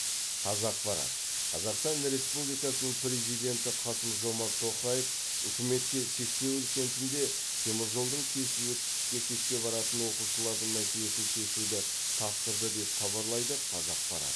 қазақпарат қазақстан республикасы президенті қасым жомарт тоқаев үкіметке сексеуіл кентінде теміржолдың кесіп өтіп мектепке баратын оқушылардың мәселесін шешуді тапсырды деп хабарлайды қазақпарат